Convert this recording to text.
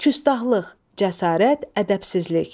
Küstaxlıq, cəsarət, ədəbsizlik.